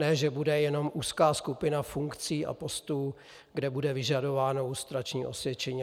Ne že bude jenom úzká skupina funkcí a postů, kde bude vyžadováno lustrační osvědčení.